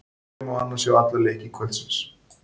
Hér má annars sjá alla leiki kvöldsins.